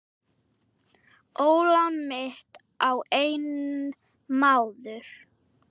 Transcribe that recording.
Ólán mitt á einn maður.